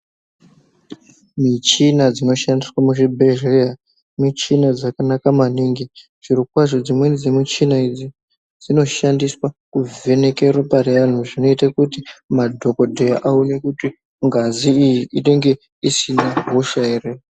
Michina dzino shandiswa mu zvibhedhlera michina dzakanaka maningi zviro kwazvo dzimweni dze michina idzi dzinoshandiswa ku vheneke ropa re anhu zvinoita kuti madhokoteya aone kuti ngazi iyi inenge isina hosha ere.